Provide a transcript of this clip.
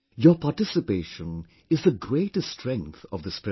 Your participation is the greatest strength of this program